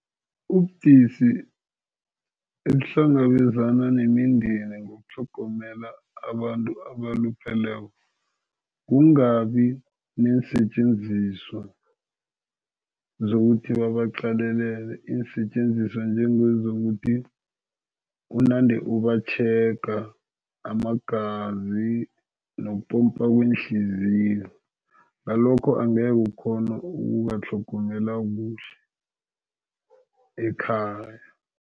Ubudisi ebuhlangabezana nemindeni ngokutlhogomela abantu abalupheleko. Kungabi neensetjenziswa zokuthi babaqalelele. Iinsetjenziswa njengezokuthi unande ubatjhega amagazi nokupompa kweenhliziyo, ngalokho angeke ukghone ukubatlhogomela kuhle ekhaya.